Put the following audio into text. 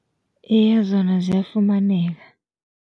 Iye, zona ziyafumaneka.